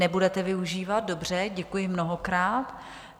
Nebudete využívat, dobře, děkuji mnohokrát.